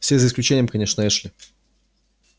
все за исключением конечно эшли